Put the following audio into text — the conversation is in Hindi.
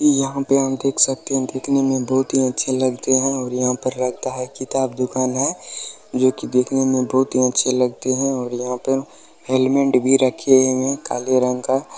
यहाँ पे हम देख सकते है दिखने में बहुत ही अच्छे लगते है और यहाँ पर लगता है किताब दुकान है जो कि दिखने में बहुत हीअच्छी लगते है और यहाँ पर हेलमेट भी रखे हुए है काले रंग का।